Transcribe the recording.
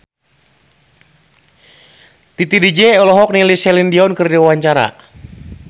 Titi DJ olohok ningali Celine Dion keur diwawancara